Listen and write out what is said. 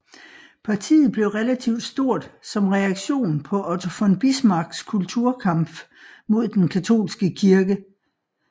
Partiet blev relativt stort som reaktion på Otto von Bismarcks Kulturkampf mod den katolske kirke